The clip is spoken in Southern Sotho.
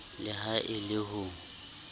le ha e le ho